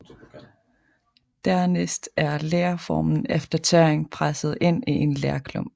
Dernæst er lerformen efter tørring presset ind i en lerklump